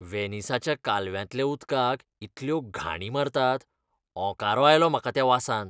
व्हेनिसाच्या कालव्यांतल्या उदकाक इतल्यो घाणी मारतात. ओंकारो आयलो म्हाका त्या वासान.